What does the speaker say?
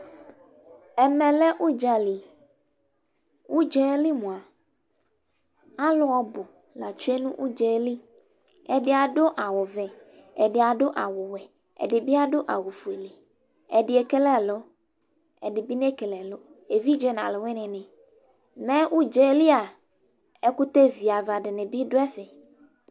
Ɛmɛ lɛ ʊdzali, ʊdza yɛ li mʋa, alʋ ɔbʋ latsue nʋ ʋdzaɛliƐdɩ adʋ awʋ vɛ, ɛdɩ adʋ awʋ wɛ, ɛdɩ bɩ adʋ awʋ fueƐdɩ ekele ɛlʋ, ɛdɩ nekele evidze nʋ alʋ wɩnɩ nɩMɛ ʊdzaɛlia, ɛkʋtɛ viava dɩnɩ bɩ dʋ ɛfɛ